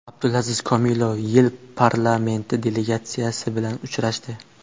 Abdulaziz Komilov YeI parlamenti delegatsiyasi bilan uchrashdi.